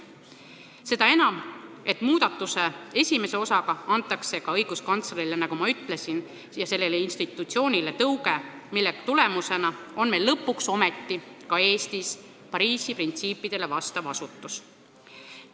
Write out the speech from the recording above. Seda enam, et muudatuse esimese osaga antakse ka õiguskantsleri institutsioonile tõuge, mille tulemusena on meil lõpuks ometi ka Eestis Pariisi printsiipidele vastav asutus.